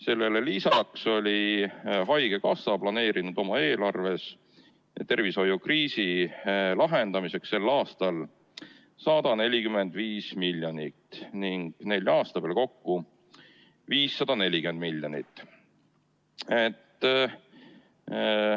Sellele lisaks oli haigekassa planeerinud oma eelarves tervishoiukriisi lahendamiseks sel aastal 145 miljonit ning nelja aasta peale kokku 540 miljonit eurot.